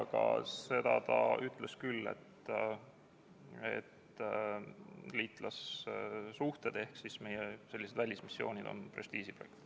Aga seda ta ütles küll, et liitlassuhted ehk meie välismissioonid on prestiižiprojekt.